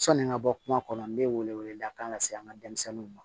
Sɔni n ka bɔ kuma kɔnɔ n bɛ wele wele da kan se an ka denmisɛnninw ma